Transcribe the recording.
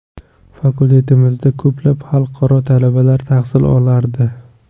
Fakultetimda ko‘plab xalqaro talabalar tahsil olardi.